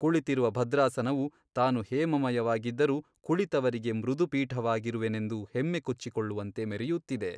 ಕುಳಿತಿರುವ ಭದ್ರಾಸನವು ತಾನು ಹೇಮಮಯವಾಗಿದ್ದರೂ ಕುಳಿತವರಿಗೆ ಮೃದುಪೀಠವಾಗಿರುವೆನೆಂದು ಹೆಮ್ಮೆ ಕೊಚ್ಚಿಕೊಳ್ಳುವಂತೆ ಮೆರೆಯುತ್ತಿದೆ.